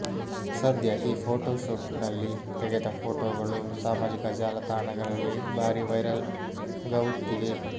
ಸದ್ಯ ಈ ಫೋಟೋಶೂಟ್ ನಲ್ಲಿ ತೆಗೆದ ಫೋಟೋಗಳು ಸಾಮಾಜಿಕ ಜಾಲತಾಣಗಳಲ್ಲಿ ಭಾರೀ ವೈರಲ್ ಘಾಉತ್ತಿವೆ